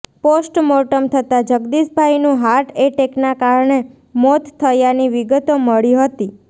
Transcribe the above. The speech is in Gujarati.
પોસ્ટમોર્ટમ થતાં જગદીશભાઈનું હાર્ટએટેકના કારણે મોત થયાની વિગતો મળી હતી